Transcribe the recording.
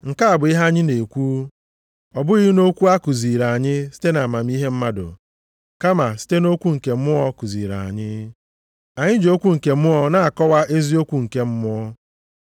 Nke a bụ ihe anyị na-ekwu, ọ bụghị nʼokwu a kuziiri anyị site nʼamamihe mmadụ, kama site nʼokwu nke Mmụọ kuziri anyị; anyị ji okwu nke Mmụọ na-akọwa eziokwu nke mmụọ.